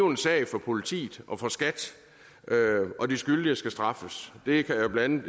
en sag for politiet og for skat og de skyldige skal straffes det kan blandt